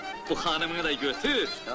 Bu xanımı da götür.